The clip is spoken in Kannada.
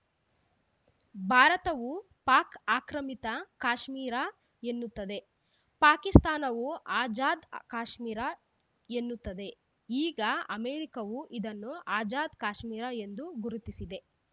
ಭಾರತವು ಪಾಕ್‌ ಆಕ್ರಮಿತ ಕಾಶ್ಮೀರ ಎನ್ನುತ್ತದೆ ಪಾಕಿಸ್ತಾನವು ಆಜಾದ್‌ ಕಾಶ್ಮೀರ ಎನ್ನುತ್ತದೆ ಈಗ ಅಮೆರಿಕವೂ ಇದನ್ನು ಆಜಾದ್‌ ಕಾಶ್ಮೀರ ಎಂದು ಗುರುತಿಸಿದೆ